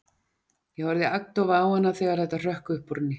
Ég horfði agndofa á hana þegar þetta hrökk upp úr henni.